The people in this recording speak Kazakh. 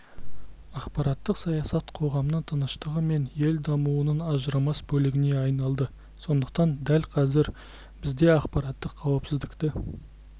ақпараттық саясат қоғамның тыныштығы мен ел дамуының ажырамас бөлігіне айналды сондықтан дәл қазір бізде ақпараттық қауіпсіздікті